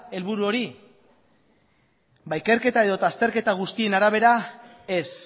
helburu hori ba ikerketa edota azterketa guztien arabera ez